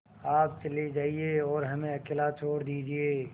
आप चले जाइए और हमें अकेला छोड़ दीजिए